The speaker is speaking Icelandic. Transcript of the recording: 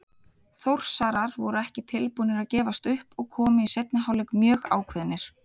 Þórsarar voru ekki tilbúnir að gefast upp og komu í seinni hálfleik mjög ákveðnir.